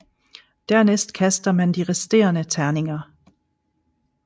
Dernæst kaster man de resterende terninger